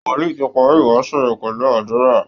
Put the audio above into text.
Wòlìí ti parí ìwàásù rẹ̀ pẹ̀lú àdúra